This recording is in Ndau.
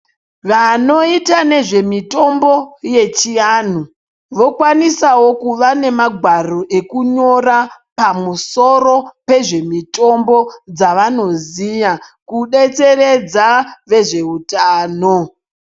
Vanoita nezvemitambo yechianhu vokwanisawo kuva nemagwaro ekunyora pamusoro pezvemitombo dzavanoziya kudetseredza vezveutano.